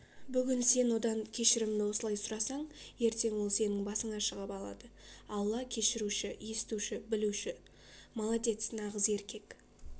бүгин сен одан кешірімдіосылай сұрасаң ертеңол сеніңбасыңа шығып алады алла кешіруші естуші білуші молодец нагыз еркек